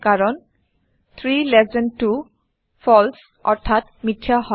কাৰণ ৩lt২ ফালছে অৰ্থাৎ মিথ্যা হয়